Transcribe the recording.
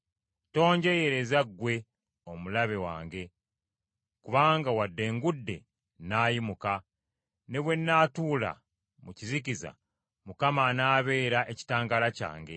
Tonjeeyereza ggwe omulabe wange, kubanga wadde ngudde, nnaayimuka. Ne bwe naatuula mu kizikiza, Mukama anaabeera ekitangaala kyange.